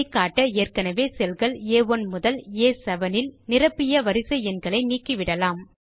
இதை காட்ட ஏற்கெனெவே cellகள் ஆ1 முதல் ஆ7 இல் நிரப்பிய வரிசை எண்களை நீக்கிவிடலாம்